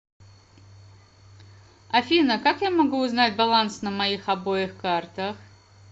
афина как я могу узнать баланс на моих обоих картах